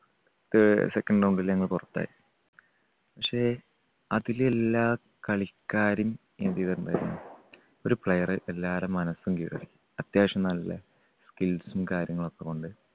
അഹ് second round ൽ ഞങ്ങൾ പുറത്തായി. പക്ഷേ അതില് എല്ലാ കളിക്കാരും എന്ത് ചെയ്‌തിട്ടുണ്ടായിരുന്നു? ഒരു player എല്ലാരുടെ മനസ്സും കീഴടക്കി. അത്യാവശ്യം നല്ല skills ഉം കാര്യങ്ങളുമൊക്കെകൊണ്ട്